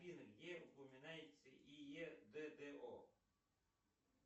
афина где упоминается и е д д о